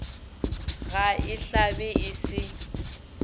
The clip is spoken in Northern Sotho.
ga e hlabe e se